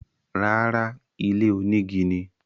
Rárá, ilé onígi ni.